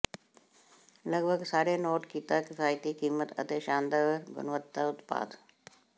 ਲਗਭਗ ਸਾਰੇ ਨੋਟ ਕੀਤਾ ਕਿਫਾਇਤੀ ਕੀਮਤ ਅਤੇ ਸ਼ਾਨਦਾਰ ਗੁਣਵੱਤਾ ਉਤਪਾਦ